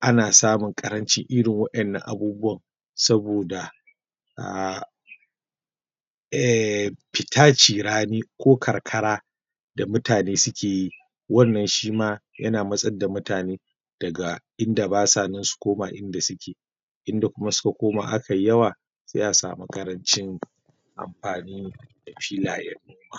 ana samun ƙarancin irin wa'inanan abubuwan saboda ehh fita cirani ko karkara da mutane suke yi wannan shi ma yana matsar da mutane daga in da ba sa nan su koma in da suke in da kuma suka koma a kai yawa za a samu ƙarancin amfani da filayen noma.